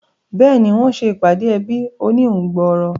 Béèni, wọ́n se ìpàdé ẹbí oníhun gbòòrò